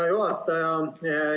Hea juhataja!